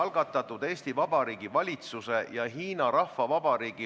Lugupeetud kolleegid, kas me võime minna hääletuse juurde?